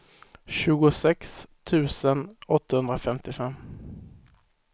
tjugosex tusen åttahundrafemtiofem